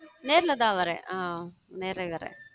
நேர்ல தான் வரேன் ஹம் நேர வரேன்